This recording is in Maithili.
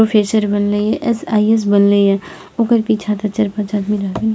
प्रोफेसर बनले ये एस.आई.एस. बनले ये ओकर पीछा ते चार पांच आदमी रहबे --